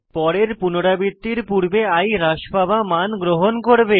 পরের পুনরাবৃত্তির পূর্বে i হ্রাস পাওয়া মান গ্রহণ করবে